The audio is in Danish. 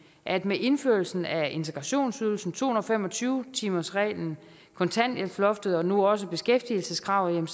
at med indførelsen af integrationsydelsen to hundrede og fem og tyve timersreglen kontanthjælpsloftet og nu også beskæftigelseskravet